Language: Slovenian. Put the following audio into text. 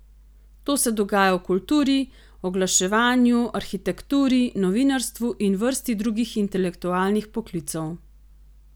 To se dogaja v kulturi, oglaševanju, arhitekturi, novinarstvu in vrsti drugih intelektualnih poklicev.